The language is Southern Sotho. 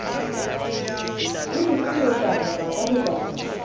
le mosuwetsana ba ka lekanyang